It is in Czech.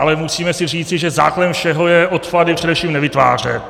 Ale musíme si říci, že základem všeho je odpady především nevytvářet.